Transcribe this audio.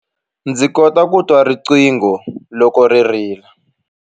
Ndzi kota ku twa riqingho loko ri rila.